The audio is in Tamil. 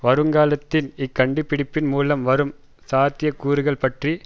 வருங்காலத்தின் இக் கண்டுபிடிப்பின் மூலம் வரும் சாத்திய கூறுகள் பற்றி